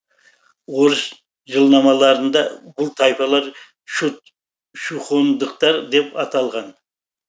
орыс жылнамаларында бұл тайпалар чудь чухондықтар деп аталған